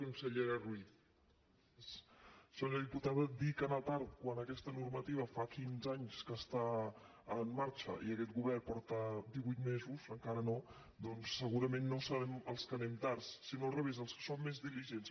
senyora diputada dir que anar tard quan aquesta normativa fa quinze anys que està en marxa i aquest govern porta divuit mesos encara no doncs segurament no serem els que anem tard sinó al revés els que som més diligents